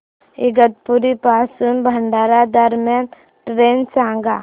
इगतपुरी पासून भंडारा दरम्यान ट्रेन सांगा